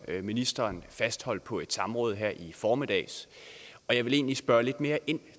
ministeren fastholdt på et samråd her i formiddag og jeg vil egentlig spørge lidt mere ind